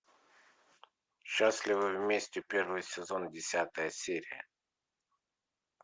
счастливы вместе первый сезон десятая серия